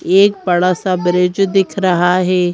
एक बड़ा सा ब्रिज दिख रहा है।